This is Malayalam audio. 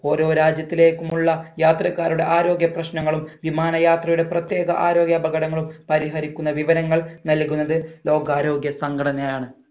ഓരോ രാജ്യത്തിലേക്കുമുള്ള യാത്രക്കാരുടെ ആരോഗ്യ പ്രശ്നങ്ങളും വിമാന യാത്രയുടെ പ്രത്യേക ആരോഗ്യ അപകടങ്ങളും പരിഹരിക്കുന്ന വിവരങ്ങൾ നൽകുന്നത് ലോക ആരോഗ്യ സംഘടനയാണ്